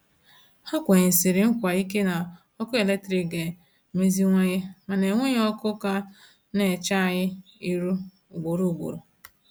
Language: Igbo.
Ha kwenyesiri nkwa ike na ọkụ eletrik ga-emeziwanye, mana enweghi ọkụ ka na-eche anyị irụ ugboro ugboro.